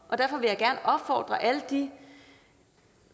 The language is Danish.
og derfor vil jeg gerne opfordre alle de